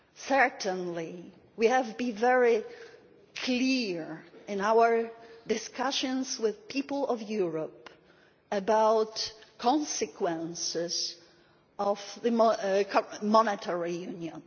Certainly we have to be very clear in our discussions with the people of Europe about the consequences of monetary union.